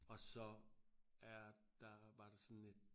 Og så er der var der sådan et